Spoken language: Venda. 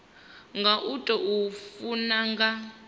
nga u tou funa nga